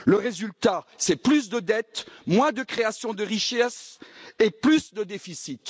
Le résultat, c'est plus de dette, moins de création de richesses et plus de déficit.